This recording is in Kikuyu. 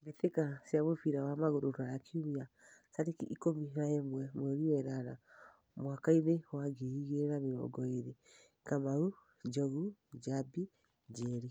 Mbĩtĩka cia mũbira wa magũrũ Ruraya Kiumia tarĩki ikũmi na ĩmwe mweri wenana mwakainĩ wa ngiri igĩrĩ na mĩrongo ĩrĩ: Kamau, Njogu, Njambi, Njeri.